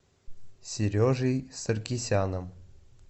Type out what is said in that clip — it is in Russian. сережей саркисяном